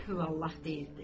Qulhu Vallah deyirdi.